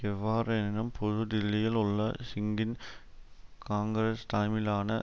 எவ்வாறெனினும் புது டில்லியில் உள்ள சிங்கின் காங்கிரஸ் தலைமையிலான